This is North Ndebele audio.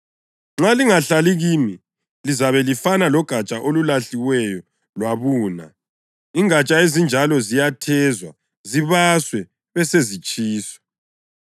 Nxa lingahlali kimi, lizabe lifana logatsha olulahliweyo lwabuna; ingatsha ezinjalo ziyathezwa, zibaswe besezisitsha.